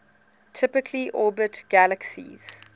typically orbit galaxies